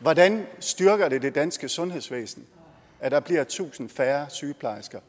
hvordan styrker det det danske sundhedsvæsen at der bliver tusind færre sygeplejersker